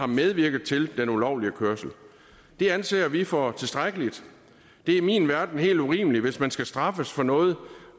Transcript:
medvirket til den ulovlige kørsel det anser vi for tilstrækkeligt det er i min verden helt urimeligt hvis man skal straffes for noget